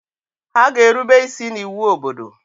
Ha ga-erube isi n’iwu obodo!